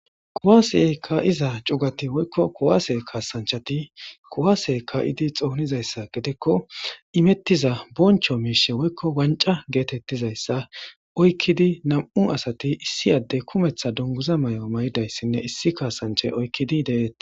Kuase kaiza chugati woyikko kuase kasanchati kuase kaidi xonizayisa gidikko imetiza boncho miishsha woyikko wanca getetizayisa oyikidi nam'u asati issi adde kumeta guniguza mau'a mayidayisine issi kasanchay oyikidi deates.